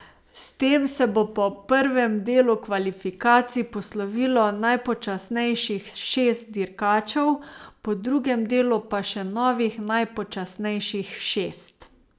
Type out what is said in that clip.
S tem se bo po prvem delu kvalifikacij poslovilo najpočasnejših šest dirkačev, po drugem delu pa še novih najpočasnejših šest.